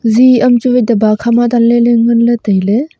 zi am chu wai daba kha ma danley tailey.